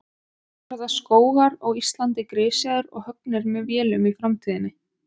Verða skógar á Íslandi grisjaðir og höggnir með vélum í framtíðinni?